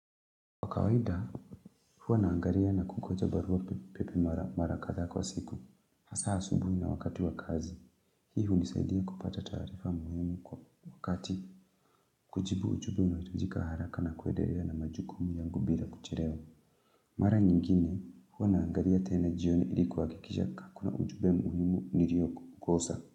Kwa kawaida, huwa naangalia na kungoja barua pepe mara katha kwa siku. Hasa asubuhi na wakati wa kazi. Hii unisaidia kupata taarifa muhimu kwa wakati kujibu ujumbe unaohitajika haraka na kuedelea na majukumu yangu bila kuchelewa. Mara nyingine, huwa naangalia tena jioni ili kuhakikisha ka kuna ujumbe muhimu nilio kukosa.